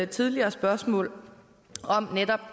tidligere spørgsmål om netop